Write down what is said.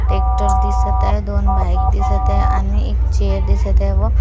एक ट्रक दिसत आहे दोन बाईक दिसत आहे आणि एक चेअर दिसत आहे व--